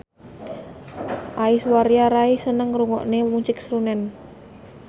Aishwarya Rai seneng ngrungokne musik srunen